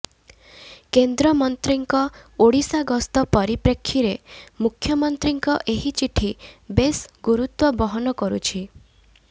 କେନ୍ଦ୍ର ମନ୍ତ୍ରୀଙ୍କ ଓଡ଼ିଶା ଗସ୍ତ ପରିପ୍ରେକ୍ଷୀରେ ମୁଖ୍ୟମନ୍ତ୍ରୀଙ୍କ ଏହି ଚିଠି ବେଶ୍ ଗୁରୁତ୍ୱ ବହନ କରୁଛି